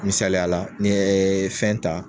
Misaliyala n'i yɛ fɛn ta